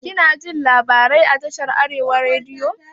Kinadajin labarai a tashar arewa rediyo?